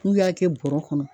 N'u y'a kɛ bɔrɔ kɔnɔ